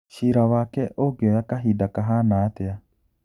Ciira wake ũngĩoya kahinda kahana atia?